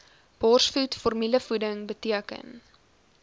borsvoed formulevoeding beteken